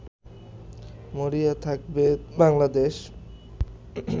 মরিয়া থাকবে বাংলাদেশ